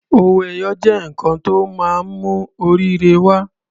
Owó ẹyọ jẹ́ nǹkan tó máa ń mú oríire wa.